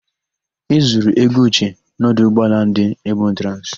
E zuru ego Uche n'ọdụ ụgbọala ndị Ebotransị.